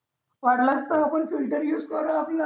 वाटलं तर आपण filter use करू आपला